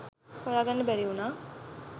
හොයා ගන්න බැරි වුණා.